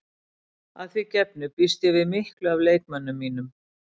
Að því gefnu býst ég við miklu af leikmönnum mínum.